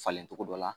Falencogo dɔ la